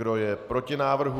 Kdo je proti návrhu?